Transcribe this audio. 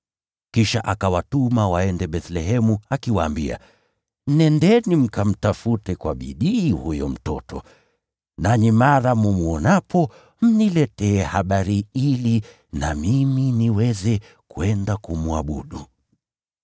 Kisha akawatuma waende Bethlehemu akiwaambia, “Nendeni mkamtafute kwa bidii huyo mtoto. Nanyi mara mtakapomwona, mniletee habari ili na mimi niweze kwenda kumwabudu.”